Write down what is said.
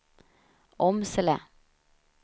Åmsele